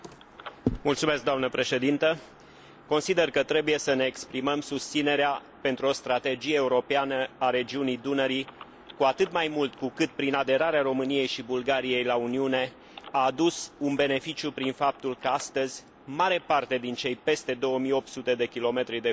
Consider că trebuie să ne exprimăm susținerea pentru o strategie europeană a regiunii Dunării, cu atât mai mult cu cât, prin aderarea României și Bulgariei la Uniune, a adus un beneficiu prin faptul că, astăzi, mare parte din cei peste 2800 km de fluviu se află pe teritoriu comunitar.